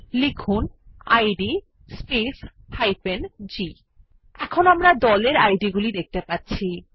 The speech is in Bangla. লিখুন ইদ স্পেস g এখন আমরা গ্রুপ id গুলি দেখতে পাচ্ছি